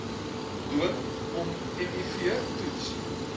dwing ommiv toets